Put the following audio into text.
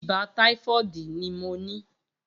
Ibà tàífọ̀dí ni mó ní